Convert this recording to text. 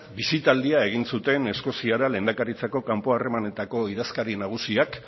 bisitaldia egin zuten eskoziara lehendakaritzako kanpo harremanetako idazkari nagusiak